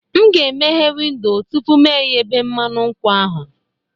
M ga-emeghe windo tupu m eyebe mmanụ nkwụ ahụ